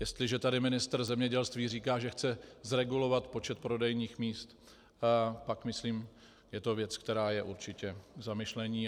Jestliže tady ministr zemědělství říká, že chce zregulovat počet prodejních míst, pak myslím je to věc, která je určitě k zamyšlení.